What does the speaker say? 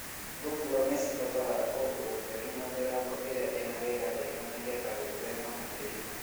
Thungura nĩ cibataraga kũndũ gũtheru na mĩrango ĩrĩa ĩna rĩera rĩega nĩ getha gwĩthema na mĩrimũ.